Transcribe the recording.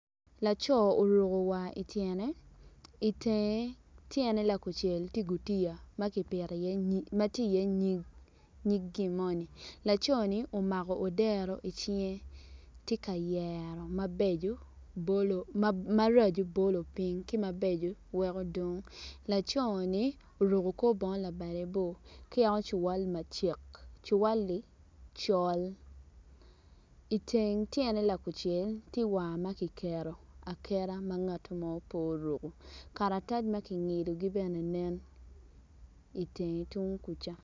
Lutini dok lutini man gitye ka ngwec kun gitye madwong adada kun gin weng gitye ma oruko bongo mapafipadi dok kalane tye patpat kungin tye ka ngwec i yo gudo ma otal adada.